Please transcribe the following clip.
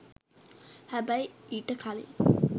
හැබැයි ඊට කලින්